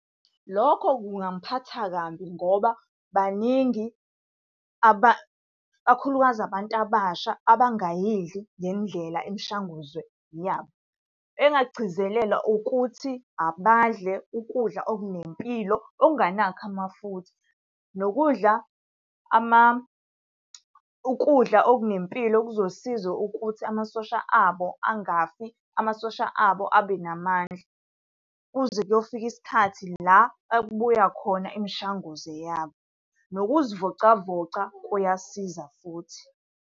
Lokho kungangiphatha kambi ngoba baningi kakhulukazi abantu abasha abangayidli ngendlela imishanguzo yabo. Engingakugcizelela ukuthi abadle ukudla okunempilo, okunganakho amafutha, nokudla ukudla okunempilo okuzosiza ukuthi amasosha abo angafani, amasosha abo abe namandla kuze kuyofika isikhathi la okubuya khona imishanguze yabo. Nokuzivocavoca kuyasiza futhi.